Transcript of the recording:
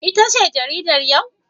Ita ce jaridar yau?